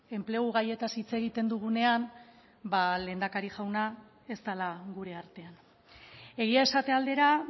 enplegu gaietaz hitz egiten dugunean ba lehendakari jauna ez dela gure artean egia esate aldera